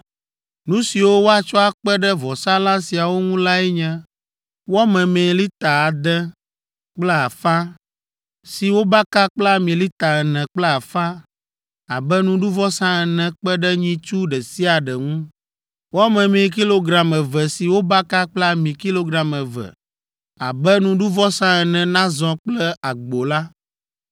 Nu siwo woatsɔ akpe ɖe vɔsalã siawo ŋu lae nye: wɔ memee lita ade kple afã, si wobaka kple ami lita ene kple afã abe nuɖuvɔsa ene kpe ɖe nyitsu ɖe sia ɖe ŋu; wɔ memee kilogram eve si wobaka kple ami kilogram eve abe nuɖuvɔsa ene nazɔ kple agbo la,